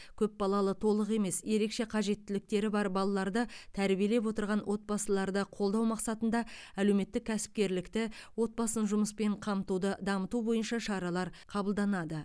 көпбалалы толық емес ерекше қажеттіліктері бар балаларды тәрбиелеп отырған отбасыларды қолдау мақсатында әлеуметтік кәсіпкерлікті отбасын жұмыспен қамтуды дамыту бойынша шаралар қабылданады